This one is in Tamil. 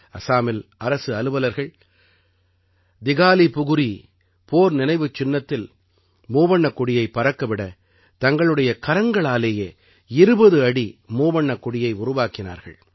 அஸாமில் அரசு அலுவலர்கள் திகாலிபுகுரீ போர் நினைவுச் சின்னத்தில் மூவண்ணக் கொடியைப் பறக்க விட தங்களுடைய கரங்களாலேயே 20 அடி மூவண்ணக் கொடியை உருவாக்கினார்கள்